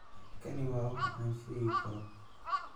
Kani waa waxa aan sheegi karo.